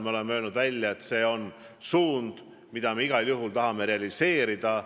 Me oleme öelnud, et see on eesmärk, mida me igal juhul tahame saavutada.